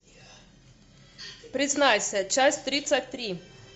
признайся часть тридцать три